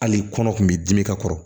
Hali kɔnɔ kun b'i dimi ka kɔrɔ